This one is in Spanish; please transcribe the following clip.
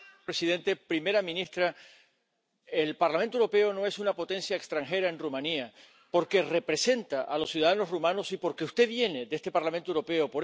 Señor presidente, primera ministra, el Parlamento Europeo no es una potencia extranjera en Rumanía, porque representa a los ciudadanos rumanos y porque usted viene de este Parlamento Europeo.